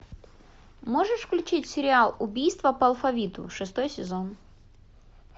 можешь включить сериал убийство по алфавиту шестой сезон